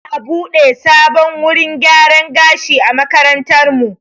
Za'a buɗe sabon wurin gyaran gashi a makarantarmu.